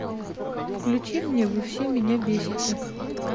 включи мне вы все меня бесите